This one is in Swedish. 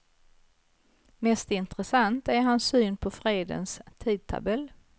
Mest intressant är hans syn på fredens tidtabell.